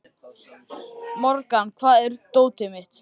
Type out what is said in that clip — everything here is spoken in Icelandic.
Morgan, hvar er dótið mitt?